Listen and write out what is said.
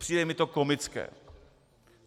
Přijde mi to komické.